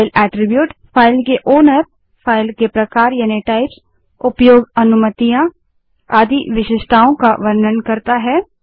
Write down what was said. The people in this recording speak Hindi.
फ़ाइल अट्रिब्यूट फ़ाइल के मालिक फ़ाइल के प्रकार उपयोग अनुमतियाँ आदि विशेषताओं का वर्णन करता है